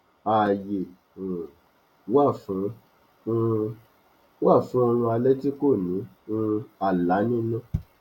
ààyè um wá fún um wá fún oorun alé tí ko ní um àlá nínú